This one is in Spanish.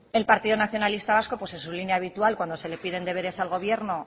el partido nacionalista vasco pues en su línea habitual cuando se le piden deberes al gobierno